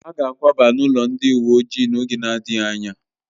Ha ga akwaba n'ụlọ ndị uwe ojii n'oge na-adịghị anya